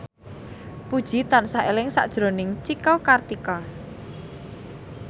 Puji tansah eling sakjroning Cika Kartika